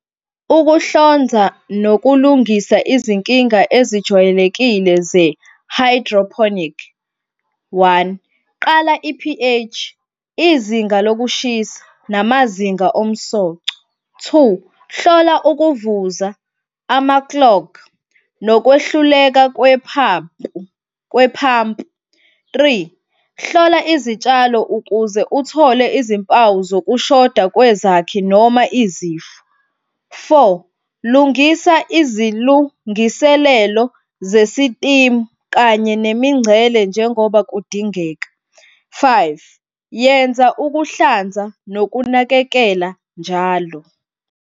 Ukuhlanza nokulungisa izinkinga ezijwayelekile ze-hydroponic. One, qala i-P_H, izinga lokushisa namazinga omsoco. Two, hlola ukuvuza ama-clog nokwehluleka kwe-pump. Three, hlola izitshalo ukuze uthole izimpawu zokushoda kwezakhi noma izifo. Four, lungisa izilungiselelo zesitimu kanye nemingcele, njengoba kudingeka. Five, yenza ukuhlanza nokunakekela njalo.